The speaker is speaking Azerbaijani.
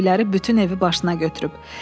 Səsküyləri bütün evi başına götürüb.”